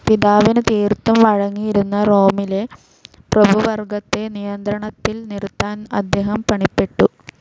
പിതാവിനു തീർത്തും വഴങ്ങിയിരുന്ന റോമിലെ പ്രഭുവർഗ്ഗത്തെ നിയന്ത്രണത്തിൽ നിർത്താൻ അദ്ദേഹം പണിപ്പെട്ടു.